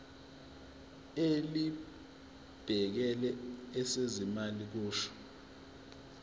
elibhekele ezezimali kusho